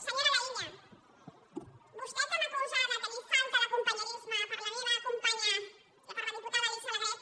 senyora laïlla vostè que m’acusa de tenir falta de companyonia per la meva companya per la diputada alícia alegret